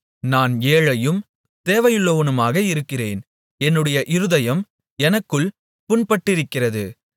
நான் ஏழையும் தேவையுள்ளவனுமாக இருக்கிறேன் என்னுடைய இருதயம் எனக்குள் புண்பட்டிருக்கிறது